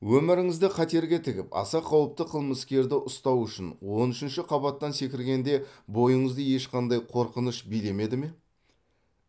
өміріңізді қатерге тігіп аса қауіпті қылмыскерді ұстау үшін он үшінші қабаттан секіргенде бойыңызды ешқандай қорқыныш билемеді ме